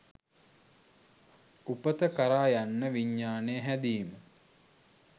උපත කරා යන්න විඤ්ඤාණය හැදීම